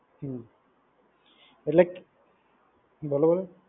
હ્મ એટલેક બોલો બોલો